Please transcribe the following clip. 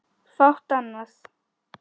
Fátt annað.